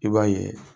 I b'a ye